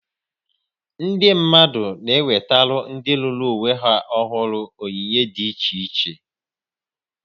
Ndị mmadụ na-ewetara ndị lụrụ onwe ha ọhụrụ onyinye dị iche iche